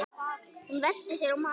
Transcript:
Hún velti sér á magann.